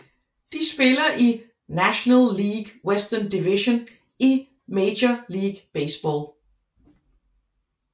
De spiller i National League Western Division i Major League Baseball